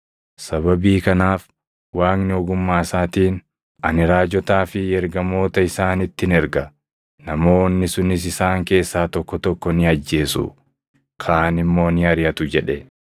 Sababii kanaaf Waaqni ogummaa isaatiin, ‘Ani raajotaa fi ergamoota isaanittin erga; namoonni sunis isaan keessaa tokko tokko ni ajjeesu; kaan immoo ni ariʼatu’ jedhe.